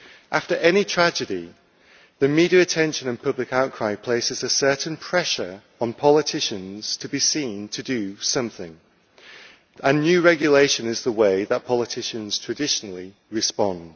After any tragedy, the media attention and public outcry places a certain pressure on politicians to be seen to do something, and new regulation is the way that politicians traditionally respond.